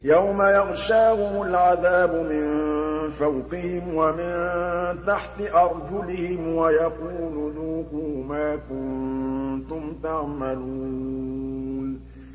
يَوْمَ يَغْشَاهُمُ الْعَذَابُ مِن فَوْقِهِمْ وَمِن تَحْتِ أَرْجُلِهِمْ وَيَقُولُ ذُوقُوا مَا كُنتُمْ تَعْمَلُونَ